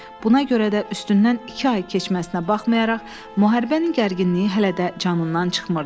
Buna görə də üstündən iki ay keçməsinə baxmayaraq, müharibənin gərginliyi hələ də canından çıxmırdı.